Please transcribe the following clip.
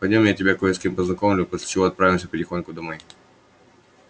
пойдём я тебя кое с кем познакомлю после чего отправимся потихоньку домой